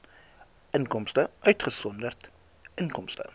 inkomste uitgesonderd inkomste